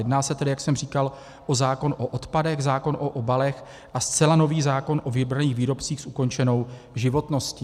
Jedná se tedy, jak jsem říkal, o zákon o odpadech, zákon o obalech a zcela nový zákon o vybraných výrobcích s ukončenou životností.